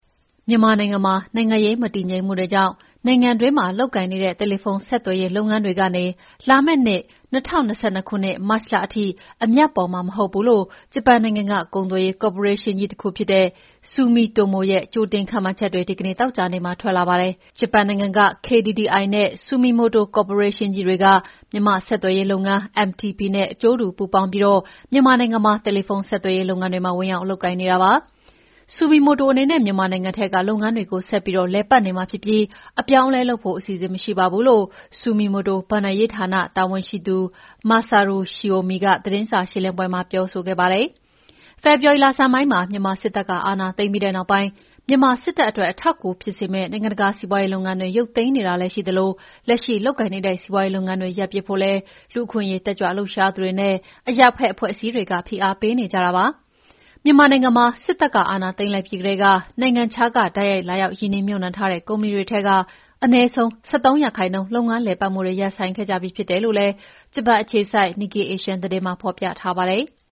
မြန်မာနိုင်ငံမှာ နိုင်ငံရေးမတည်ငြိမ်မှုတွေကြောင့် နိုင်ငံအတွင်းမှာလုပ်ကိုင်နေတဲ့ တယ်လီဖုန်းဆက်သွယ်ရေးလုပ်ငန်းတွေကနေ လာမယ့်နှစ် ၂၀၂၂ ခုနှစ် မတ်လထိအမြတ်ပေါ်မှာမဟုတ်ဘူးလို ဂျပန်နိုင်ငံက ကုန်သွယ်ရေးကော်ပိုရေးရှင်းကြီးတခုဖြစ်တဲ့ Sumitomo ရဲ့ ကြိုတင်ခန့်မှန်းချက်တွေ ဒီကနေ့ သောကြာနေ့မှာ ထွက်လာပါတယ်။ ဂျပန်နိုင်ငံက KDDI နဲ့ Sumitomo ကော်ပိုရေးရှင်းကြီးတွေက မြန်မာ့ဆက်သွယ်ရေးလုပ်ငန်း MTP နဲ့ အကျိုးတူပူးပေါင်းပြီး မြန်မာနိုင်ငံမှာ တယ်လီဖုန်း ဆက်သွယ်ရေးုလုပ်ငန်းတွေမှာ ဝင်ရောက်လုပ်ကိုင် နေတာဖြစ်ပါတယ်။ Sumitomo အနေနဲ့ မြန်မာနိုင်ငံထဲက လုပ်ငန်းတွေကို ဆက်ပြီးလည်ပတ်နေမှာဖြစ်ပြီး အပြောင်းအလဲလုပ်ဖို့အစီအစဉ် မရှိပါဘူးလို့လည်း Sumitomo ဘဏ္ဍာရေးဌာန တာဝန်ရှိသူ Masaru Shiomi ကသတင်းစာရှင်းလင်းပွဲမှာပြောပါတယ်။ဖေဖော်ဝါရီလဆန်းပိုင်းမှာ မြန်မာစစ်တပ်ကအာဏာသိမ်းပြီးတဲ့နောက်ပိုင်း မြန်မာစစ်တပ်အတွက် အထောက်အကူဖြစ်စေမယ့် နိုင်ငံတကာက စီးပါွးရေးလုပ်ငန်းတွေ ရုပ်သိမ်းနေတာလည်းရှိသလို လက်ရှိလုပ်ကိုင်နေတဲ့ စီးပါွးရေးလုပ်ငန်းတွေ ရပ်ပစ်ဖို့လည်း လူ့အခွင့်အရေးတက်ကြွလှုပ်ရှားသူတွေနဲ့ အရပ်ဖက်အဖွဲ့အစည်းတွေက ဖိအားတွေပေးနေကြပါတယ်။ မြန်မာနိုင်ငံမှာ စစ်တပ်က အာဏာသိမ်းလိုက်ပြီးကတည်းက နိုင်ငံခြားက တိုက်ရိုက် လာရောက်ရင်းနှီးမြုပ်နှံထားကြတဲ့ ကုမ္ပဏီတွေထဲက အနည်းဆုံး ၁၃% လုပ်ငန်းလည်ပတ်မှုတွေ ရပ်ဆိုင်းခဲ့ကြပြီး ဖြစ်တယ်လို့လည်း ဂျပန်အခြေစိုက် Nikkei Asia သတင်းမှာ ဖော်ပြထားပါတယ်။